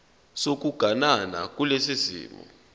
sokuganana kulesi simo